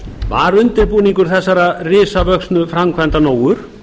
var undirbúningur þessarar risavöxnu framkvæmdar nógur